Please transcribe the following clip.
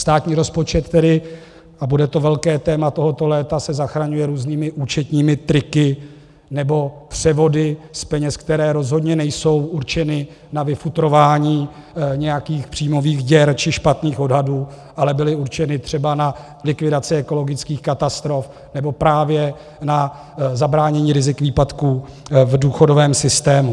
Státní rozpočet tedy, a bude to velké téma tohoto léta, se zachraňuje různými účetními triky nebo převody z peněz, které rozhodně nejsou určeny na vyfutrování nějakých příjmových děr či špatných odhadů, ale byly určeny třeba na likvidaci ekologických katastrof nebo právě na zabránění rizik výpadků v důchodovém systému.